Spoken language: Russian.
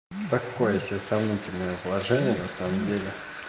такое себе сомнительное положение на самом деле